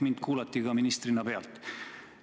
Mind kuulati ministrina pealt.